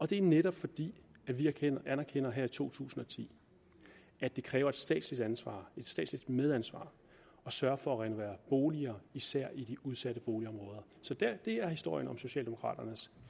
det er netop fordi vi anerkender her i to tusind og ti at det kræver et statsligt ansvar et statsligt medansvar at sørge for at renovere boliger især i de udsatte boligområder så det er historien om socialdemokraternes